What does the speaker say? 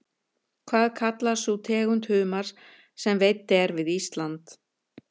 Hvað kallast sú tegund humars sem veidd er við Ísland?